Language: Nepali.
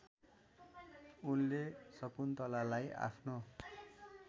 उनले शकुन्तलालाई आफ्नो